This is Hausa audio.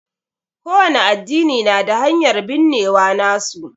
ƙo wani addini na da hanyar binnewa nasu.